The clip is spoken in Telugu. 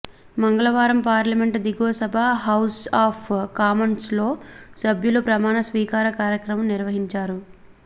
మంగళవారం పార్లమెంట్ దిగువ సభ హౌజ్ ఆఫ్ కామన్స్లో సభ్యుల ప్రమాణ స్వీకార కార్యక్రమం నిర్వహించారు